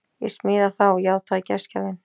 Ég smíða þá, játaði gestgjafinn.